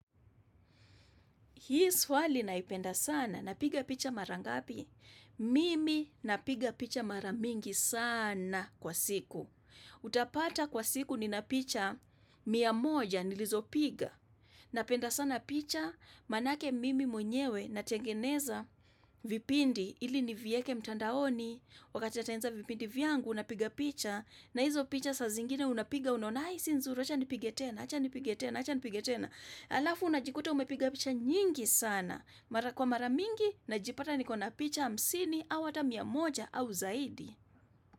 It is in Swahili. Hii swali naipenda sana. Napiga picha mara ngapi? Mimi napiga picha mara mingi sana kwa siku. Utapata kwa siku nina picha mia moja nilizopiga. Napenda sana picha maanake mimi mwenyewe natengeneza vipindi ili nivieke mtandaoni. Wakati natengeneza vipindi vyangu napiga picha na hizo picha saa zingine unapiga unaona ai, si nzuri acha nipige tena, acha nipige tena acha nipite tena. Alafu unajikuta umepiga picha nyingi sana. Mara kwa mara mingi najipata niko na picha hamsini au hata mia moja au zaidi.